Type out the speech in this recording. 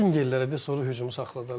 Vingerlərə de, sonra hücumu saxla da.